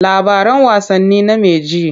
Labaran wasanni name ji.